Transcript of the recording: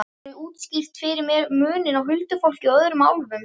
Geturðu útskýrt fyrir mér muninn á huldufólki og öðrum álfum?